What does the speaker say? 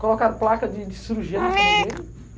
Colocaram placa de de cirurgia na cama dele.